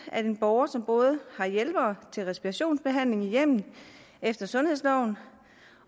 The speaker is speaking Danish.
at en borger som både har hjælpere til respirationsbehandling i hjemmet efter sundhedsloven